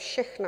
Všechna.